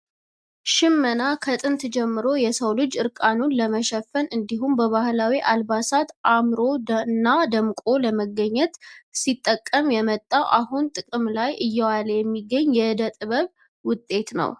ሽመና ከጥንት ጀምሮ የሰው ልጅ እርቃኑን ለመሸፈን እንዲሁም በባህላዊ አልባሳት አምሮ እና ደምቆ ለመገኘት ሲጠቀም የመጣው አሁንም ጥቅም ላይ እየዋለ የሚገኝ የእደጥበብ ውጤት ነው።